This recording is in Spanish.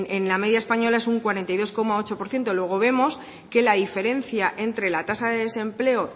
en la media española es un cuarenta y dos coma ocho por ciento luego vemos que la diferencia entre la tasa de desempleo